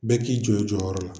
Bɛɛ k'i jɔ i jɔyɔrɔ la.